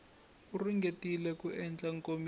u ringetile ku endla nkomiso